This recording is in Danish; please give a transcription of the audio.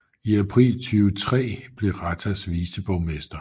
I april 2003 blev Ratas viceborgmester